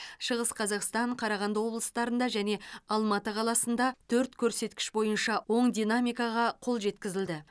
шығыс қазақстан қарағанды облыстарында және алматы қаласында төрт көрсеткіш бойынша оң динамикаға қол жеткізілді